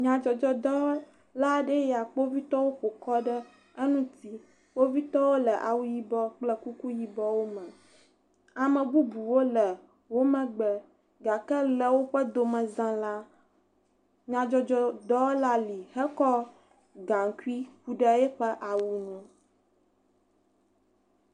Nyadzɔdzɔdɔwɔla aɖee nye eya kpovitɔwo ƒokɔ ɖe eŋuti, kpovitɔwo le awu yibɔ kple kuku yibɔwo me, ame bubuwo le womagbe gake le woƒe domeza la, nyadzɔdzɔdɔwɔla li hekɔ gaŋkui ku ɖe eƒe awu ŋu.